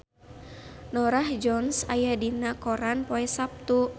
Norah Jones aya dina koran poe Saptu